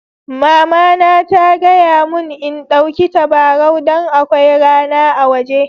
Mama na ta gaya mun n'ɗauki tabarau dan akwai rana a woje.